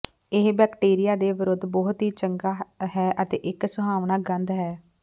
ਇਹ ਬੈਕਟੀਰੀਆ ਦੇ ਵਿਰੁੱਧ ਬਹੁਤ ਹੀ ਚੰਗਾ ਹੈ ਅਤੇ ਇੱਕ ਸੁਹਾਵਣਾ ਗੰਧ ਹੈ